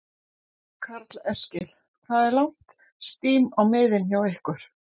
Karl Eskil: Hvað er langt stím á miðin hjá ykkur?